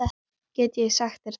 Ég get sagt þér það